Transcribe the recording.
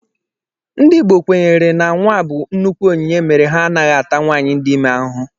Ndị Igbo kwenyere na nnwa bụ nnukwu onyinye mere ha anaghị ata nwaanyị dị ime ahụhụ